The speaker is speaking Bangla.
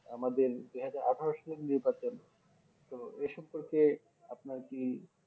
আমাদের দুইহাজার আঠারো সালের নির্বাচন তো এ সব ক্ষেত্রে আপনার কি